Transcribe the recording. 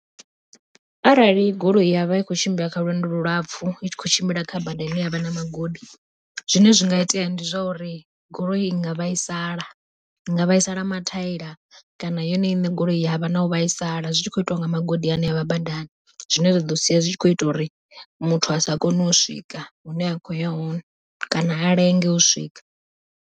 Arali goloi ya vha i khou tshimbila kha lwendo lu lapfhu, i tshi kho tshimbila kha bada ine havha na magodi zwine zwi nga itea ndi zwa uri goloi i nga vhaisala, i nga vhaisala mathaela kana yone iṋe goloi yavha na u vhaisala, zwi tshi khou itiwa nga magodi ane avha badani zwine zwa ḓo sia zwi tshi kho ita uri muthu a sa kone u swika hune a khoya hone kana a lenge u swika.